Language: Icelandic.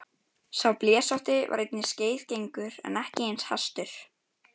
Sá blesótti var einnig skeiðgengur en ekki eins hastur.